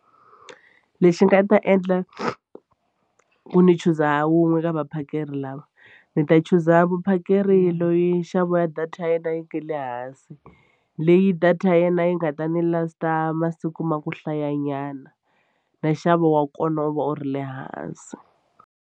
Lexi nga ta endla ku ni chuza wun'we ka vaphakeri lava ni ta chuza vuphakeri loyi nxavo ya data ya yena yi nga le hansi leyi data ya yena yi nga ta ndzi last-a masiku ma ku hlayanyana na nxavo wa kona u va u ri le hansi.